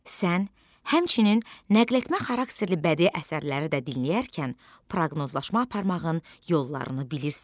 Sən həmçinin nəql etmə xarakterli bədii əsərləri də dinlərkən proqnozlaşma aparmağın yollarını bilirsən.